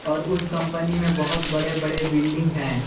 और उस कंपनी में बहुत बड़े बड़े बिल्डिंग हैं।